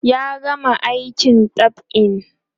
ya gama aikin dab'in